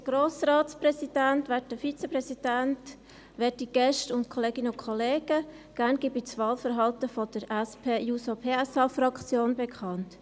Gerne gebe ich das Wahlverhalten der SP-JUSO-PSA-Fraktion bekannt.